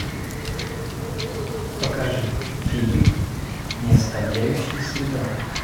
покажи фильмик не оставляющий следа